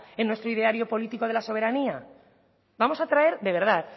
en nuestro ideario política de la soberanía vamos a traer de verdad